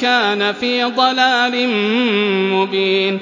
كَانَ فِي ضَلَالٍ مُّبِينٍ